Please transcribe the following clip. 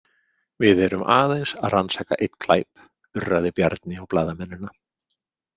Við erum aðeins að rannsaka einn glæp, urraði Bjarni á blaðamennina.